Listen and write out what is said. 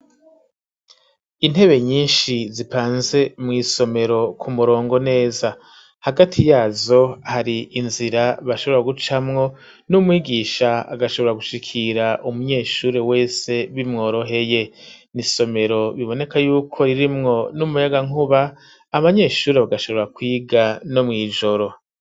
Intebe nyinshi, zipanze mw'isomero ku murongo neza, hagati yazo hari inzira bashobora gucamwo, n'umwigisha agashobora gushikira umunyeshure wese bimworoheye; ni isomero biboneka y'uko ririmwo n'umuyagankuba, abanyeshure bagashobora kwiga no mw'ijoro.